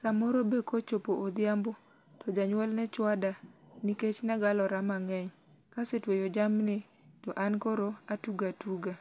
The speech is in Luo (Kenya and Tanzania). Samoro be kochopo odhiambo to janyuol ne chwada nikech ne agalora mang'eny, kase tweyo jamni to an koro atugo atuga.